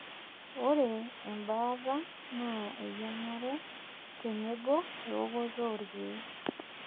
ore ebaata naa eyingare tenebo eokoto oorkeek.